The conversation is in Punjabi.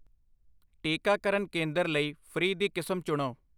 ਟੀਕਾਕਰਨ ਕੇਂਦਰ ਲਈ ਫ੍ਰੀ ਦੀ ਕਿਸਮ ਚੁਣੋ।